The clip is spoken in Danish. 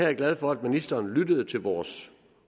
jeg glad for at ministeren lyttede til vores